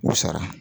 U sara